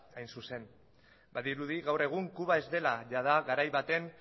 hain zuzen badirudi gaur egin kuba ez dela jada garai baten